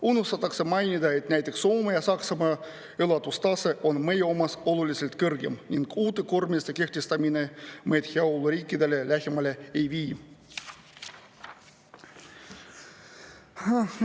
Unustatakse mainida, et näiteks Soome ja Saksamaa elatustase on meie omast oluliselt kõrgem ning uute koormiste kehtestamine meid heaoluriikidele lähemale ei vii.